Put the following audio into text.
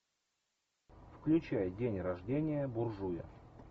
включай день рождения буржуя